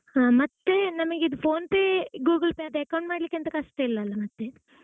ಹಾ ಮತ್ತೆ ಅದೇ PhonePe, Google Pay ಅದು account ಮಾಡ್ಲಿಕ್ಕೆ ಎಂತ ಕಷ್ಟ ಇಲ್ಲಲಾ ಮತ್ತೆ?